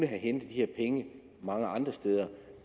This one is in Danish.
have hentet de her penge mange andre steder